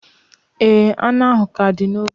Ee, anụ ahụ ka dị na ovun